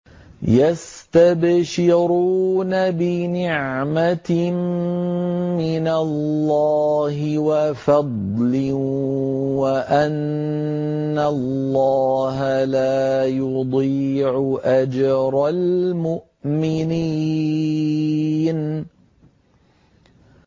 ۞ يَسْتَبْشِرُونَ بِنِعْمَةٍ مِّنَ اللَّهِ وَفَضْلٍ وَأَنَّ اللَّهَ لَا يُضِيعُ أَجْرَ الْمُؤْمِنِينَ